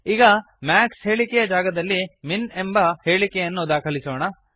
ಈಗ ಮ್ಯಾಕ್ಸ್ ಹೇಳಿಕೆಯ ಜಾಗದಲ್ಲಿ ಮಿನ್ ಎನ್ನುವ ಹೇಳಿಕೆಯನ್ನು ದಾಖಲಿಸೋಣ